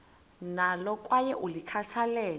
nalo kwaye ulikhathalele